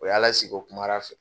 O y'a lasigi, o kumara fɛ